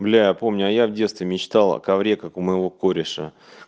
бля я помню а я в детстве мечтал о ковре как у моего кореша